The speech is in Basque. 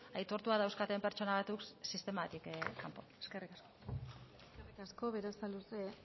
aitortuak dauzkaten pertsona batzuk sistematik kanpoan eskerrik asko eskerrik asko berasaluze